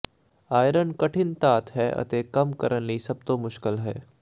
iron ਕਠਿਨ ਧਾਤ ਹੈ ਅਤੇ ਕੰਮ ਕਰਨ ਲਈ ਸਭ ਤੋਂ ਮੁਸ਼ਕਲ ਹੈ